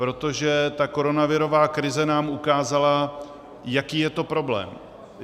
Protože ta koronavirová krize nám ukázala, jaký je to problém.